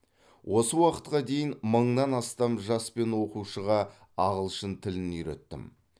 осы уақытқа дейін мыңнан астам жас пен оқушыға ағылшын тілін үйреттім